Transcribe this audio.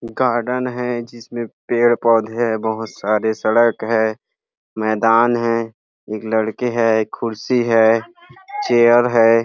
garden है जिसमे पेड़ पौधे है बहुत सारे सड़क है मैदान है एक लड़के है एक कुर्शी है चेयर है --